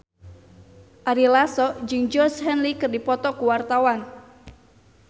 Ari Lasso jeung Georgie Henley keur dipoto ku wartawan